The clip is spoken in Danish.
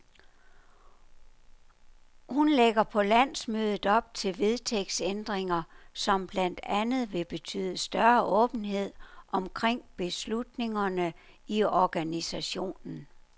Hun lægger på landsmødet op til vedtægtsændringer, som blandt andet vil betyde større åbenhed omkring beslutningerne i organisationen.